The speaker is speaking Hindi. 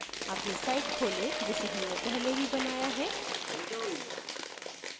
अपनी साइट खोलें जिसे हमने पहले ही बनाया है